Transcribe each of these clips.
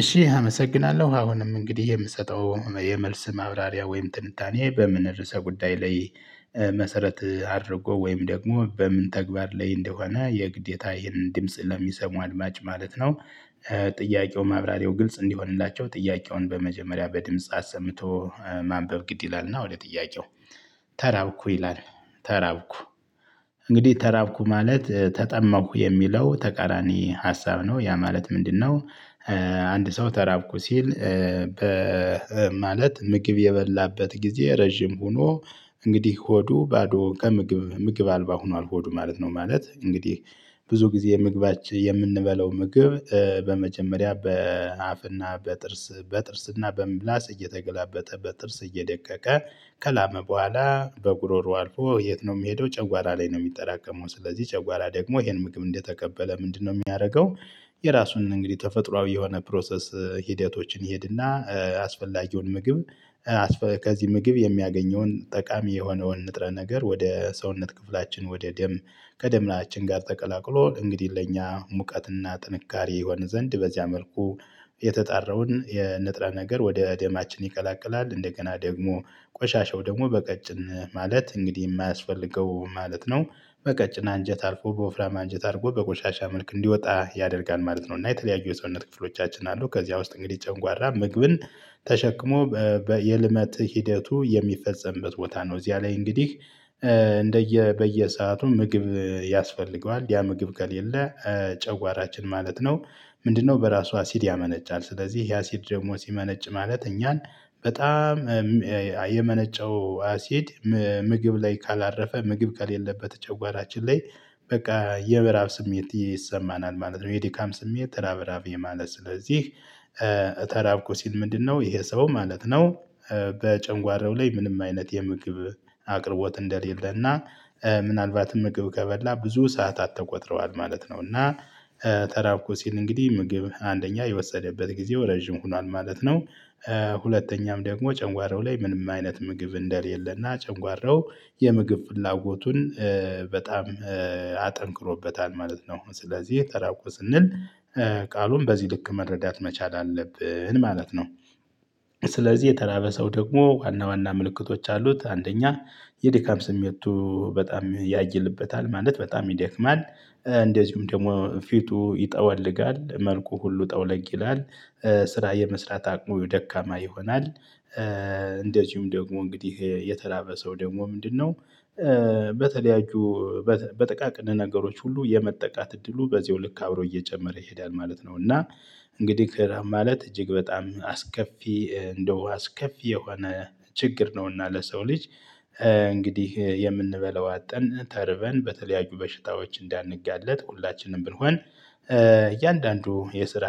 እሺ አመሰግናለሁ አሁንም እንግዲህ የምሰጠው የመልስ ማብራሪያ ወይም ትንታኔ በምን ርዕሰ ጉዳይ ላይ መሰረት አድርጎ ወይም ደግሞ በምን ተግባር ላይ እንደሆነ የግዴታ ይህንን ድምጽ ለሚሰሙ አድማጭ ማለት ነው። ጥያቄው ማብራሪያው ግልጽ እንዲሆንላቸው ጥያቄውን በመጀመሪያ በድምጽ አሰምቶ ማንበብ ግድ ይላልና ወደ ጥያቄው። ተራብኩ ይላል ተራብኩ እንግዲህ ተራብኩ ማለት ተጠማሁ የሚለው ተቃራኒ ሀሳብ ነው ያ ማለት ምንድነው? አንድ ሰው ተራብኩ ሲል በ ማለት ምግብ የበላበት ጊዜ ረጅም ሆኖ እንግዲህ ሆዱ ባዶ ከምግብ ምግብ አልባ ሆኗል ሆዱ ማለት ነው። ማለት እንግዲህ ብዙ ጊዜ የምግባች የምንበለው ምግብ በመጀመሪያ በአፍና በጥርስ በጥርስና በምላስ እየተገላበጠ በጥርስ እርስ እየደቀቀ ከላመ በኋላ በጉሮሮ አልፎ የት ነው የሚሄደው ጨጓራ ላይ ነው። የሚጠራቀመው ስለዚህ ጨጓራ ደግሞ ይሄን ምግብ እንደተቀበለ ምንድነው የሚያደርገው? የራሱን እንግዲህ ተፈጥሮአዊ የሆነ ፕሮሰስ ሂደቶችን ይሄድና አስፈላጊውን ምግብ። ከዚህ ምግብ የሚያገኘውን ጠቃሚ የሆነውን ንጥረ ነገር ወደ ሰውነት ክፍላችን ወደ ደም ከደም ላይ ጋር ተቀላቅሎ እንግዲህ ለእኛ ሙቀትና ጥንካሬ ይሆን ዘንድ በዚያ መልኩ። የተጣራውን የንጥረ ነገር ወደ ደማችን ይቀላቅላል እንደገና ደግሞ ቆሻሻው ደግሞ በቀጭን ማለት እንግዲህ የማያስፈልገው ማለት ነው። በቀጭን አንጀት አልፎ በወፍራማ አንጀት አድርጎ በቆሻሻ መልክ እንዲወጣ ያደርጋል ማለት ነው። እና የተለያዩ የሰውነት ክፍሎቻችን አሉ ከዚያ ውስጥ እንግዲህ ጨንጓራ ምግብን ተሸክሞ በየልመት ሂደቱ የሚፈጸምበት ቦታ ነው። እዚያ ላይ እንግዲህ እንደየ በየሰአቱ ምግብ ያስፈልገዋል ያ ምግብ ከሌለ ጨጎራችን ማለት ነው። ምንድነው በራሷ አሲድ ያመነጫል ስለዚህ ይሄ አሲድ ደግሞ ሲመነጭ ማለት እኛን በጣም የመነጨው አሲድ። ምግብ ላይ ካላረፈ ምግብ ከሌለበት ጨጓራችን ላይ በቃ የመራብ ስሜት ይሰማናል ማለት ነው። የድካም ስሜት ራብራብ የማለት ስለዚህ ተራብኩ ሲል ምንድነው ይሄ ሰው ማለት ነው። በጨጓራው ላይ ምንም አይነት የምግብ አቅርቦት እንደሌለና ምናልባትም ምግብ ከበላ ብዙ ሰዓታት ተቆጥረዋል ማለት ነው። እና ተራብኩ ሲል እንግዲህ ምግብ አንደኛ የወሰደበት ጊዜው ረጅም ሆኗል ማለት ነው። ሁለተኛም ደግሞ ጨጓራው ላይ ምንም አይነት ምግብ እንደሌለና ጨጓራው የምግብ ፍላጎቱን በጣም አጠንክሮበታል ማለት ነው። ስለዚህ ተራብኩ ስንል ቃሉን በዚህ ልክ መረዳት መቻል አለብን ማለት ነው። ስለዚህ የተራበ ሰው ደግሞ ዋና ዋና ምልክቶች አሉት። አንደኛ የድካም ስሜቱ በጣም ያይልበታል ማለት በጣም ይደክማል። እንደዚሁም ደግሞ ፊቱ ይጠወልጋል መልኩ ሁሉ ጠውለግ ይላል። ስራ የመስራት አቅሙ ደካማ ይሆናል። እንደዚሁም ደግሞ እንግዲህ የተራበ ሰው ደግሞ ምንድነው? በተለያዩ በጥቃቅን ነገሮች ሁሉ የመጠቃት እድሉ በዚሁ ልክ አብሮ እየጨመረ ይሄዳል ማለት ነው። እና እንግዲህ ማለት እጅግ በጣም አስከፊ እንደው አስከፊ የሆነ ችግር ነውና ለሰው ልጅ። እንግዲህ የምንበለው አጠን ተርበን በተለያዩ በሽታዎች እንዳንጋለጥ ሁላችንም ብንሆን። እያንዳንዱ የስራ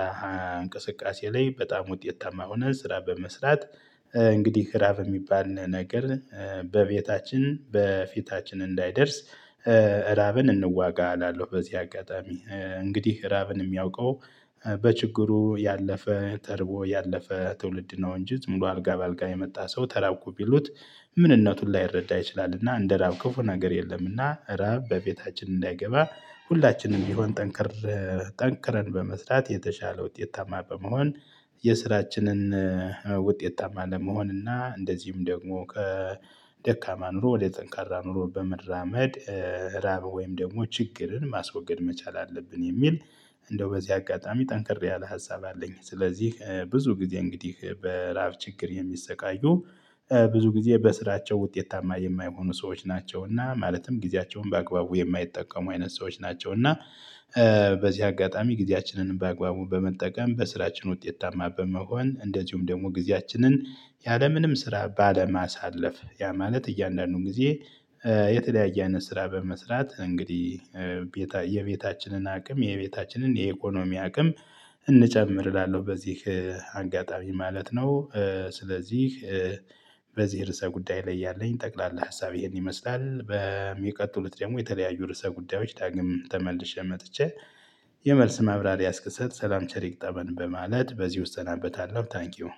እንቅስቃሴ ላይ በጣም ውጤት ታማ ሆነን ስራ በመስራት እንግዲህ ክራብ የሚባል ነገር በቤታችን በፊታችን እንዳይደርስ። እራብን እንዋጋ አላለው በዚህ አጋጣሚ እንግዲህ ራብን የሚያውቀው በችግሩ ያለፈ ተርቦ ያለፈ ትውልድ ነው። እንጂ ዝም ብሎ አልጋ በአልጋ የመጣ ሰው ተራብኩ ቢሉት ምንነቱን ላይረዳ ይችላል። እና እንደ ራብ ክፉ ነገር የለም። እና ራብ በቤታችን እንዳይገባ ሁላችንም ቢሆን ጠንክር ጠንክረን በመስራት የተሻለ ውጤታማ በመሆን። የስራችንን ውጤታማ ለመሆን እና እንደዚህም ደግሞ ከደካማ ኑሮ ወደ ጠንካራ ኑሮ በመራመድ። ራብ ወይም ደግሞ ችግርን ማስወገድ መቻል አለብን። የሚል እንደው በዚህ አጋጣሚ ጠንክር ያለ ሀሳብ አለኝ። ስለዚህ ብዙ ጊዜ እንግዲህ በራብ ችግር የሚሰቃዩ ብዙ ጊዜ በስራቸው ውጤታማ የማይሆኑ ሰዎች ናቸውና ማለትም ጊዜያቸውን በአግባቡ የማይጠቀሙ አይነት ሰዎች ናቸው። እና በዚህ አጋጣሚ ጊዜያችንን በአግባቡ በመጠቀም በስራችን ውጤት ታማ በመሆን እንደዚሁም ደግሞ ጊዜያችንን ያለምንም ስራ ባለማሳለፍ ያ ማለት እያንዳንዱን ጊዜ። የተለያየ አይነት ስራ በመስራት እንግዲህ የቤታችንን አቅም የቤታችንን የኢኮኖሚ አቅም እንጨምር እላለሁ በዚህ አጋጣሚ ማለት ነው። ስለዚህ በዚህ ርዕሰ ጉዳይ ላይ ያለኝ ጠቅላላ ሀሳብ ይሄን ይመስላል። በሚቀጥሉት ደግሞ የተለያዩ ርዕሰ ጉዳዮች ዳግም ተመልሼ መጥቼ የመልስ ማብራሪያ እስክሰጥ ሰላም ቸር ይግጠመን በማለት በዚህ እሰናበታለሁ። ታንኪው።